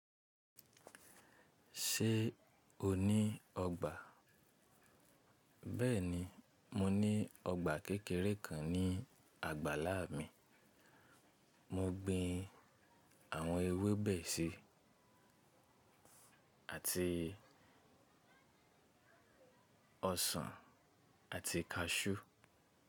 Ṣe o ni ọgba? Bẹ́ẹ̀ni, mo ni ọgba kékeré kan ni àgbàlá mi. Mo gbin àwọn ewébẹ̀ síi, àti ọsàn àti kaṣú.